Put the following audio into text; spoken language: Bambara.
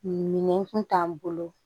Minɛn kun t'an bolo